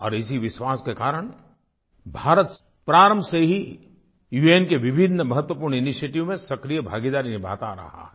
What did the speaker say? और इसी विश्वास के कारण भारत प्रारम्भ से ही उन के विभिन्न महत्वपूर्ण इनिशिएटिव्स में सक्रिय भागीदारी निभाता आ रहा है